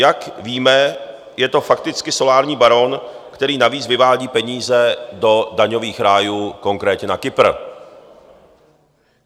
Jak víme, je to fakticky solární baron, který navíc vyvádí peníze do daňových rájů, konkrétně na Kypr.